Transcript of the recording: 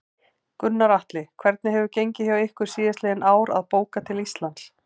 Gunnar Atli: Hvernig hefur gengið hjá ykkur síðastliðin ár að bóka til Íslands?